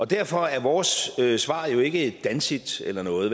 derfor er vores svar jo ikke et danexit eller noget i